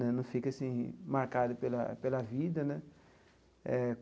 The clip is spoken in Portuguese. Né não fica assim, marcado pela pela vida, né? Eh.